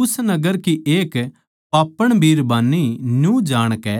उस नगर की एक पापण बिरबान्नी न्यू जाणकै